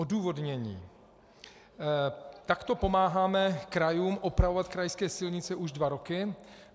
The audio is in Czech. Odůvodnění: Takto pomáháme krajům opravovat krajské silnice už dva roky.